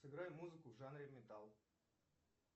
сыграй музыку в жанре металл